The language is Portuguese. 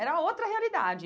Era outra realidade.